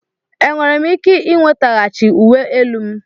Enwere m ike ị nwetaghachi uwe elu m?